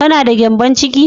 Kana da gyambon ciki?